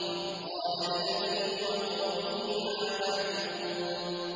إِذْ قَالَ لِأَبِيهِ وَقَوْمِهِ مَا تَعْبُدُونَ